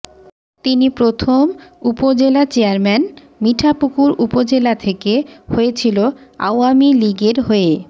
তিনি প্রথম উপজেলা চেয়ারম্যান মিঠাপুকুর উপজেলা থেকে হয়েছিল আওয়ামীলীগের হয়ে